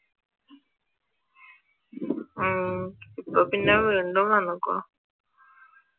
ഉം ഇപ്പൊ പിന്നെ വീണ്ടും വന്നേക്കുവാ